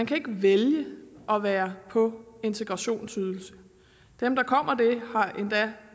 kan vælge at være på integrationsydelse dem der kommer det har endda